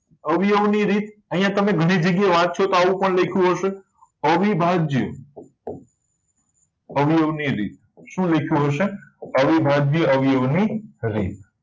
અવયવ ની રીત અહીંયા તમે ઘણી જગ્યાએ વાંચશો તો તમે લખ્યું હશે અવિભાજ્ય અવયવ ની રીત શું લખ્યું હશે અવિભાજ્ય અવયવ ની રીત